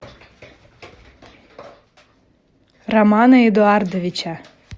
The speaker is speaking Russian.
романа эдуардовича